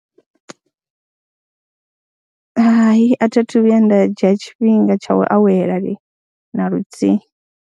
Hai, a thi thu vhuya nda dzhia tshifhinga tsha u awela limi na luthihi.